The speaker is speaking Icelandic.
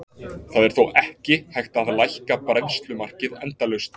Það er þó ekki hægt að lækka bræðslumarkið endalaust.